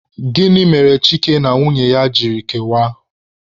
Gịnị mere Chike na nwunye ya ji kewaa?